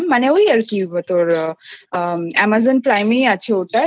ভাবছিলাম মানে ওই আর কি তোর Amazon Prime এই আছে ওটা